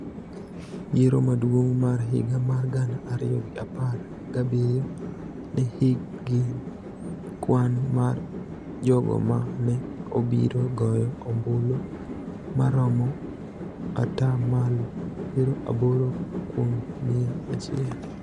Yiero maduong� mar higa mar gana ariyo gi apar gabiriyo ne nigi kwan mar jogo ma ne obiro goyo ombulu ma romo ata malo piero aboro kuom mia achiel